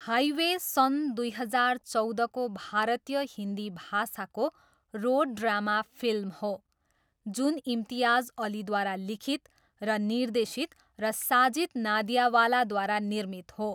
Highway सन् दुई हजार चौधको भारतीय हिन्दी भाषाको रोड ड्रामा फिल्म हो जुन इम्तियाज अलीद्वारा लिखित र निर्देशित र साजिद नादियावालाद्वारा निर्मित हो।